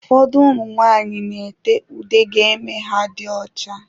Ụfọdụ ụmụ nwanyị n'ete ude ga eme ha dị ọcha.